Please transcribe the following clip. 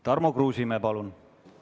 Tarmo Kruusimäe, palun!